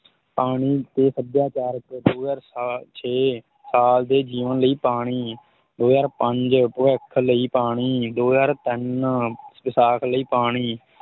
ਪਾਣੀ ਅਤੇ ਸੱਭਿਆਚਾਰ ਤੇ ਦੋ ਹਜ਼ਾਰ ਸਾ~ ਛੇ ਸਾਲ ਦੇ ਜੀਵਨ ਲਈ ਪਾਣੀ ਦੋ ਹਜ਼ਾਰ ਪੰਜ ਭਵਿੱਖ ਲਈ ਪਾਣੀ, ਦੋ ਹਜ਼ਾਰ ਤਿੰਨ ਵਿਸਾਖ ਲਈ ਪਾਣੀ